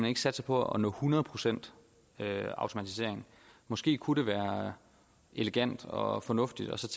ikke satser på at nå hundrede procent automatisering måske kunne det være elegant og fornuftigt